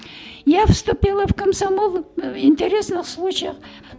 я вступила в комсомол интересных случаях